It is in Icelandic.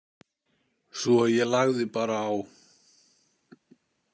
Svo að ég lagði bara á.